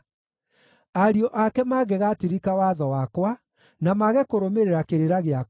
“Ariũ ake mangĩgatirika watho wakwa na mage kũrũmĩrĩra kĩrĩra gĩakwa,